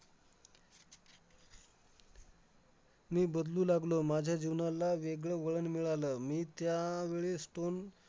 मी बदलू लागलो. माझ्या जीवनाला वेगळं वळण मिळालं. मी त्यावेळेस पण